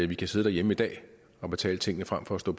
vi kan sidde derhjemme i dag og betale tingene frem for at stå